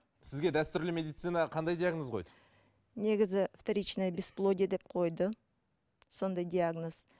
сізге дәстүрлі медицина қандай диагноз қойды негізі вторичный бесплодие деп қойды сондай диагноз